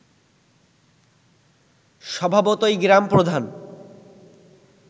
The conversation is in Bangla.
স্বভাবতই গ্রামপ্রধান